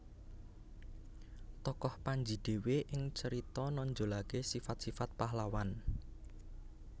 Tokoh Panji dhewe ing carita nonjolaké sifat sifat pahlawan